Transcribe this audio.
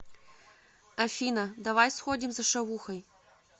афина давай сходим за шавухой